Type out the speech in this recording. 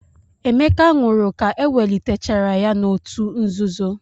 Emeka nwụrụ ka ewelitechara ya n'òtù nzuzo.